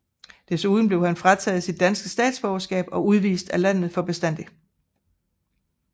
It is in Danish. Desuden blev han frataget sit danske statsborgerskab og udvist af landet for bestandig